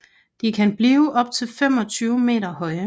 De kan blive op til 25 meter høje